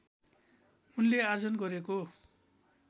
उनले आर्जन गरेको